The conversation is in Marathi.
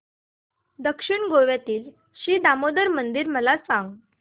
दक्षिण गोव्यातील श्री दामोदर मंदिर मला सांग